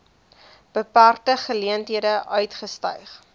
beperkte geleenthede uitgestyg